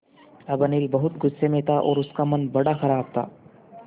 अब अनिल बहुत गु़स्से में था और उसका मन बड़ा ख़राब था